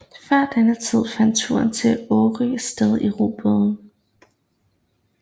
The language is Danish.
Før denne tid fandt turen til Årø sted i robåde